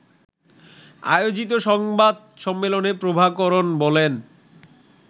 আয়োজিত সংবাদ সম্মেলনে প্রভাকরণ বলেন